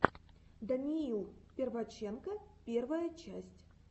даниил перваченко первая часть